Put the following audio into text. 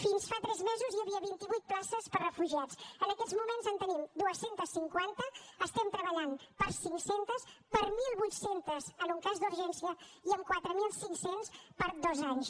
fins fa tres mesos hi havia vint vuit places per a refugiats en aquests moments en tenim dos cents i cinquanta estem treballant per cinc cents per mil vuit cents en un cas d’urgència i en quatre mil cinc cents per a dos anys